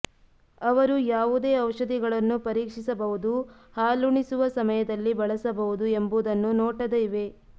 ಅವರು ಯಾವುದೇ ಔಷಧಿಗಳನ್ನು ಪರೀಕ್ಷಿಸಬಹುದು ಹಾಲುಣಿಸುವ ಸಮಯದಲ್ಲಿ ಬಳಸಬಹುದು ಎಂಬುದನ್ನು ನೋಟದ ಇವೆ